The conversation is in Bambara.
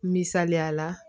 Misaliya la